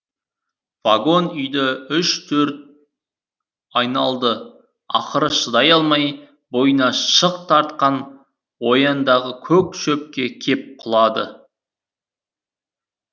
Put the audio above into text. вагон үйді үш төрт айналды ақыры шыдай алмай бойына шық тартқан ояңдағы көк шөпке кеп құлады